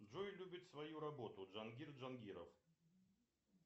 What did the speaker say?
джой любит свою работу джангир джангиров